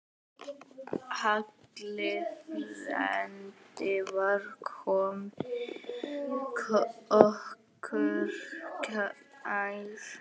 Halli frændi var okkur kær.